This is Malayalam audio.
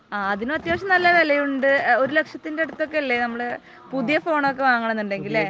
അതിന് അത്യാവശ്യം നല്ല വിലയുണ്ട്, ഒരു ലക്ഷത്തിന് ഒക്കെ അടുത്ത് ഒക്കെ അല്ലേ നമ്മൾ പുതിയ ഫോൺ ഒക്കെ വാങ്ങണമെന്ന് ഉണ്ടെങ്കിൽ. അല്ലേ?